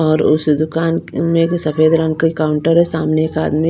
और उस दुकान में सफेद रंग के काउंटर है सामने एक आदमी--